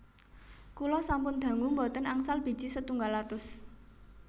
Kula sampun dangu mboten angsal biji setunggal atus